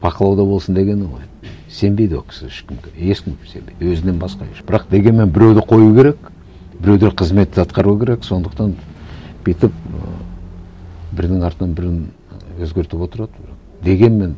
бақылауда болсын дегені ғой сенбейді ол кісі ешкімге ешкімге сенбейді өзінен басқа ешкімге бірақ дегенмен біреуді қою керек біреулер қызмет атқару керек сондықтан бүйтіп ыыы бірінің артынан бірін өзгертіп отырады дегенмен